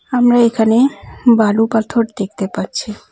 আমরা এখানে বালু পাথর দেখতে পাচ্ছি।